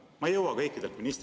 Ma ei jõua kõikidelt ministritelt …